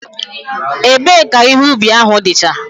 Ebe ka ihe ubi ahu dicha?